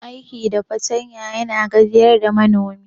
Aiki da fartanya yana gajiyar da manomi.